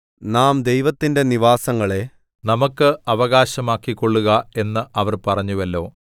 നാം ദൈവത്തിന്റെ നിവാസങ്ങളെ നമുക്ക് അവകാശമാക്കിക്കൊള്ളുക എന്ന് അവർ പറഞ്ഞുവല്ലോ